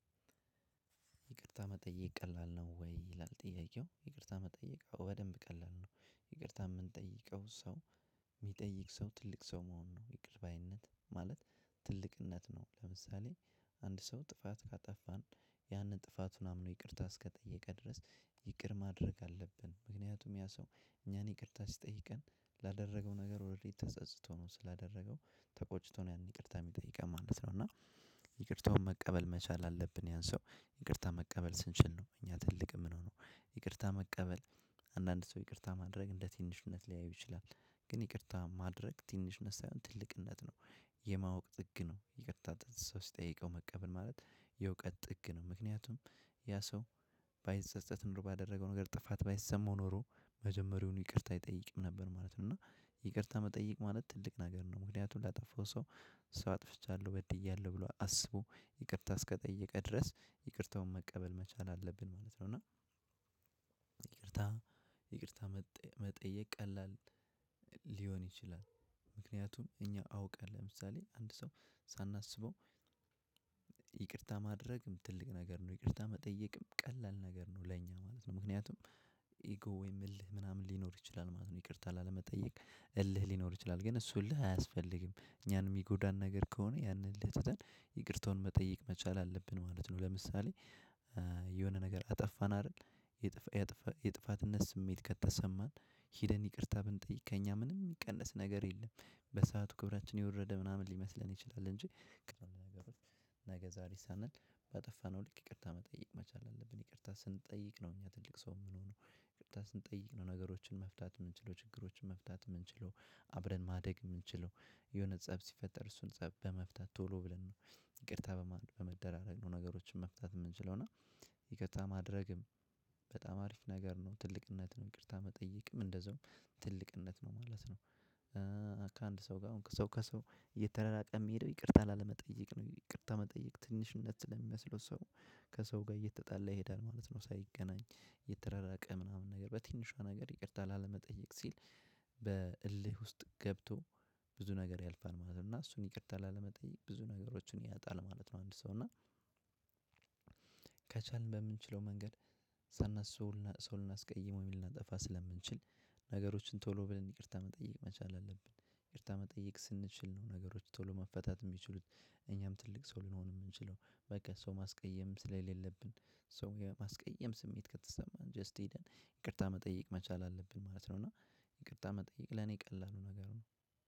ይቅርታ መጠየቅ ቀላል ነው ወይ? ይላል ጥያቄው ይቅርታ መጠየቅ በደንብ ቀላል ነው። ይቅርታ ምንጠይቀው ሰው የሚጠይቅ ሰው ትልቅ ሰው መሆን ነው ይቅርባይነት ማለት ትልቅነት ነው። ለምሳሌ አንድ ሰው ጥፋት ካጠፋን ያንን ጥፋቱን አምኖ ይቅርታ እስከጠየቀ ድረስ ይቅር ማድረግ አለብን። ምክንያቱም ያ ሰው እኛን ይቅርታ ሲጠይቀን ላደረገው ነገር ኦረዲ ተጸጽቶ ነው ተቆጭቶ ነው ያን ይቅርታ የሚጠይቀን ማለት ነው። እና ይቅርታውን መቀበል መቻል አለብን። ያን ሰው ይቅርታ መቀበል ስንችል ነው እኛ ትልቅ የምንሆነው። ይቅርታ መቀበል አንዳንድ ሰው ይቅርታ ማድረግ እንደ ትንሽነት ሊያዩ ይችላል። ግን ይቅርታ ማድረግ ትንሽነት ሳይሆን ትልቅነት ነው። የማወቅ ጥግ ነው የምትጠይቀው መቀበል ማለት የእውቀት ጥግ ነው። ምክንያቱም ያ ሰው ባይጸጸት ኑሮ ባደረገው ነገር ጥፋት ባይሰማው ኖሮ መጀመሪያውን ይቅርታ አይጠይቅም ነበር ማለት ነው። እና ይቅርታ መጠየቅ ማለት ትልቅ ነገር ነው። ምክንያቱም ላጠፋው ሰው ሰው አጥፍቻለሁ በድያለሁ ብሎ አስቦ ይቅርታ እስከጠየቀ ድረስ ይቅርታውን መቀበል መቻል አለብን ማለት ነው። እና ይቅርታ መጠየቅ ቀላል ሊሆን ይችላል። ምክንያቱም እኛ አውቃለሁ ለምሳሌ አንድ ሰው ሳናስበው ይቅርታ ማድረግም ትልቅ ነገር ነው ይቅርታ መጠየቅም ቀላል ነገር ነው ለኛ ማለት ነው። ምክንያቱም ኢጎ ወይም እልህ ምናምን ሊኖር ይችላል ማለት ነው። ይቅርታ ላለመጠየቅ እልህ ሊኖር ይችላል ግን እሱ እልህ አያስፈልግም እኛን የሚጎዳን ነገር ከሆነ ያን እልኸ ትተን ይቅርታውን መጠየቅ መቻል አለብን ማለት ነው። ለምሳሌ የሆነ ነገር አጠፋን አደል የጥፈትነት ስሜት ከተሰማን ሄደን ይቅርታ ብንጠየወቅ ከኛ ምንም የሚቀነስ ነገር የለም። በሰአቱ ክብራችን የወረደ ምናምን ሊመስለን ይችላል አንጂ ነገ ዛሬ ሳንል ባጠፋነው ልክ ይቅርታ መጠየቅ መቻል አለብን። ይቅርታ ስንጠይቅ ነው እኛ ትልቅ ሰው የምንሆነው ይቅርታ ስንጠይቅ ነው። ነገሮችን መፍታት የምንችለው ችግሮችን መፍታት የምንችለው አብረን ማደግ የምንችለው የሆነ ፀብ ሲፈጠር እሱን ፀብ በመፍታት ቶሎ ብለን ነው። ይቅርታ በመደራረግ ነው ነገሮችን መፍታት የምንችለው እና ይቅርታ ማድረግም በጣም አሪፍ ነገር ነው። ትልቅነትን ይቅርታ መጠየቅም እንደዛውም ትልቅነት ነው ማለት ነው። ከአንድ ሰው ጋር ሰው ከሰው እየተራራቀ የሚሄደው ይቅርታ ላለመጠየቅ ነው። ይቅርታ መጠየቅ ትንሽነት ስለሚመስለው ሰው ከሰው ጋር እየተጣለ ይሄዳል ማለት ነው። ሳይገናኝ የተረራቀ ምናምን ነገር በትንሿ ነገር ይቅርታ ላለመጠየቅ ሲል በእልህ ውስጥ ገብቶ ብዙ ነገር ያልፋል ማለት ነው። እና እሱን ይቅርታ ላለመጠየቅ ብዙ ነገሮችን ያጣል ማለት ነው። አንድ ሰው እና ከቻልን በምንችለው መንገድ ሰው ልናስቀይመው የሚል እናጠፋ ስለምንችል ነገሮችን ቶሎ ብለን ይቅርታ መጠየቅ መቻል አለብን። ይቅርታ መጠየቅ ስንችል ነው ነገሮች ቶሎ መፈታት የሚችሉት። እኛም ትልቅ ሰው ልንሆን የምንችለው በቃ ሰው ማስቀየም ስለሌለብን ሰው የማስቀየም ስሜት ከተሰማን ጀስት ሄደን ይቅርታ መጠየቅ መቻል አለብን ማለት ነው። እና ይቅርታ መጠየቅ ለኔ ቀላሉ ነገሩ ነው።